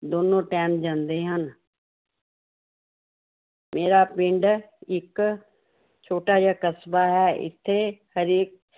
ਦੋਨੋਂ time ਜਾਂਦੇ ਹਨ ਮੇਰਾ ਪਿੰਡ ਇੱਕ ਛੋਟਾ ਜਿਹਾ ਕਸਬਾ ਹੈ l ਇੱਥੇ ਹਰੇਕ